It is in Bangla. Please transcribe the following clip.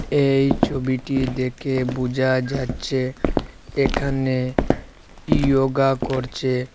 এই ছবিটি দেখে বুঝা যাচ্ছে এখানে ইয়গা করছে।